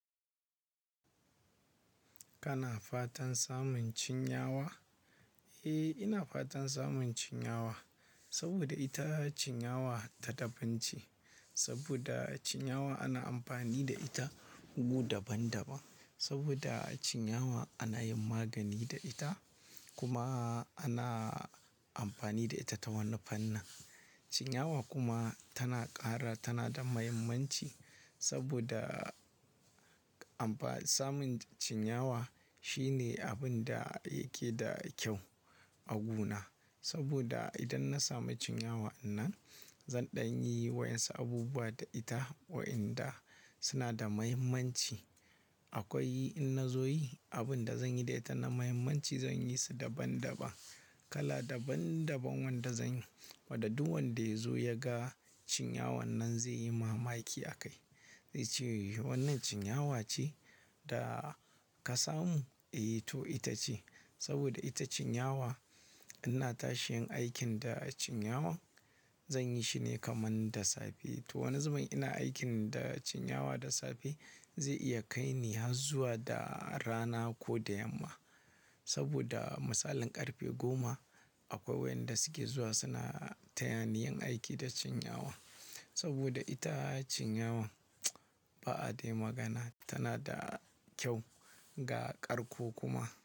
Kana fatan samun cinyawa? Eh, ina fatan samun cinyawa saboda ita cinyawa ta da bance. Saboda cinyawa ana amfani da ita gu daban-daban. Saboda cinyawa ana yin magani da ita kuma ana amfani da ita ta wani fannin. Cinyawa kuma tana ƙara tana da mahimmanci saboda amfa-- samun cinyawa shine abin da yake da kyau a gona. Saboda idan na sami cinyawa anan, zan ɗan yi wa yansu abubuwa da ita wa'inda suna da muhimmanci. Akwai in na zo yi, abin da zan yi da ita na muhimmanci zan yi su daban-daban. Kala daban-daban wanda zan yi, wadda duk wanda ya zo ya ga cinyawan nan zai yi mamaki a kai. Zai ce, "Wannan cinyawa ce da ka samu?" Eh to ita ce. Saboda ita cinyawa, ina tashin aikin da cinyawan zan yi shine kaman da safe. To, wani zubin ina aikin da cinyawa da safe zai iya kai ni har zuwa da rana ko da yamma. Saboda misalin ƙarfe goma akwai wayanda suke zuwa suna taya ni yin aiki da cinyawa. Saboda ita cinyawan ba'a dai magana tana da kyau, ga ƙarko kuma.